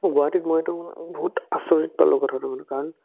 মই গুৱাহাটীত মইটো বহুত আচৰিত পালো কথাটো বোলো কাৰণ